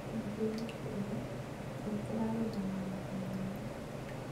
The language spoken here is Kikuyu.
Kauntĩ-inĩ ciothe nĩkurarĩ na magetha mega